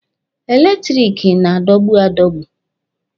Eletiriki na-adọgbu adọgbu.